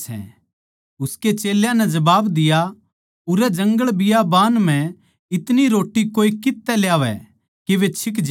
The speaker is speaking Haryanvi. उसकै चेल्यां नै जबाब दिया उरै जंगलबियाबान म्ह इतनी रोट्टी कोए कित्त तै ल्यावै के वे छिक ज्या